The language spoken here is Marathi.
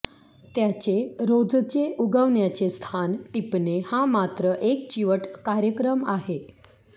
त्याचे रोजचे उगवण्याचे स्थान टिपणे हा मात्र एक चिवट कार्यक्रम आहे